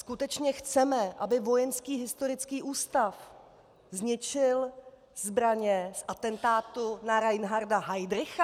Skutečně chceme, aby Vojenský historický ústav zničil zbraně z atentátu na Reinharda Heydricha?